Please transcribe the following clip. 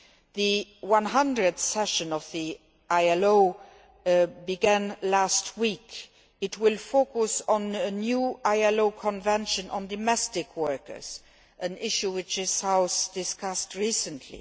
The 100th session of the ILO began last week it will focus on a new ILO convention on domestic workers, an issue which this House discussed recently.